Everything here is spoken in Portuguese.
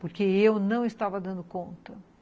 Porque eu não estava dando conta.